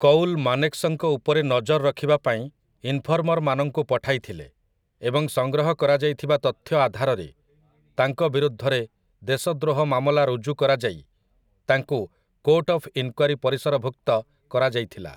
କୌଲ ମାନେକ୍‌ଶଙ୍କ ଉପରେ ନଜର ରଖିବା ପାଇଁ ଇନଫର୍ମର୍‌ମାନଙ୍କୁ ପଠାଇଥିଲେ, ଏବଂ ସଂଗ୍ରହ କରାଯାଇଥିବା ତଥ୍ୟ ଆଧାରରେ, ତାଙ୍କ ବିରୁଦ୍ଧରେ ଦେଶଦ୍ରୋହ ମାମଲା ରୁଜୁ କରାଯାଇ ତାଙ୍କୁ କୋର୍ଟ ଅଫ୍ ଇନ୍‌କ୍ୱାରୀ ପରିସରଭୁକ୍ତ କରାଯାଇଥିଲା ।